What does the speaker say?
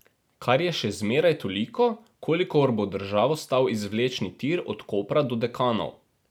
Kar je še zmeraj toliko, kolikor bo državo stal izvlečni tir od Kopra do Dekanov.